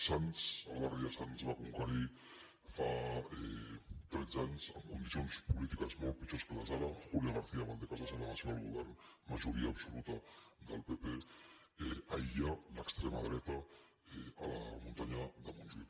sants el barri de sants va conquerir fa tretze anys en condicions polítiques molt pitjors que les d’ara julia garcía valdecasas a la delegació del govern majoria absoluta del pp aïllar l’extrema dreta a la muntanya de montjuïc